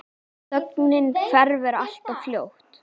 Og þögnin hverfur alltof fljótt.